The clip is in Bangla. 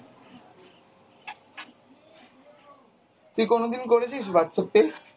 তুই কোনোদিন করেছিস Whatsapp pay?